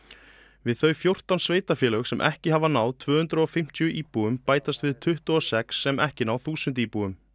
við þau fjórtán sveitarfélög sem ekki hafa náð tvö hundruð og fimmtíu íbúum bætast við tuttugu og sex sem ekki ná þúsund íbúum